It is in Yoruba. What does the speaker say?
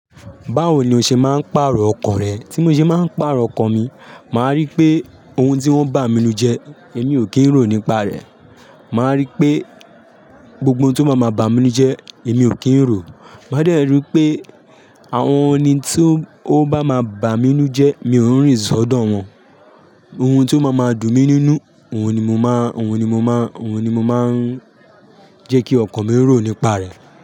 Báwo ni o ṣe máa ń pàrọ̀ ọkọ rẹ? Tí mo ṣe máa ń pàrọ̀ ọkọ̀n mi, màá rí pé ohun tí wọ́n bá mi lù jẹ́, èmi ò kí ń rò nípa rẹ̀. Màá rí pé gbogbo ohun tó má máa bá mi nu jẹ́, èmi ò kí ń rò. Máa dẹrì pé àwọn ẹni tí ó bá máa bá mi nù jẹ́, mi ò ń rìnsọ̀ dọ̀ wọ́n. Ohun tó máa máa dùn mi nínú, òun ni mo máa, òun ni mo máa, òun ni mo máa ń jẹ́ kí ọkọ mi rò nípa rẹ̀.